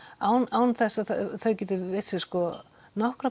án án þess að þau geti veitt sér